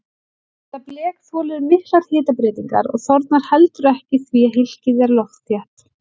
Þetta blek þolir miklar hitabreytingar og þornar heldur ekki því að hylkið er loftþétt.